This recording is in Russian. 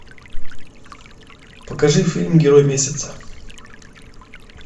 покажи фильм герой месяца